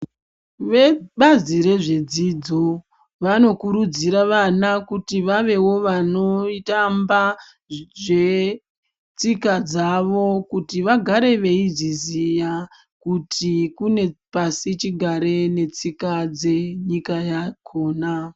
Vebazi rezvedzidzo vanokurudzira vana kuti vavewo vanotamba zvetsika dzavo kuti vagare veizviziya kuti kune pasi chigare netsika dzenyika yakona.